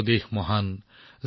আমাৰ দেশ মহান ভাতৃ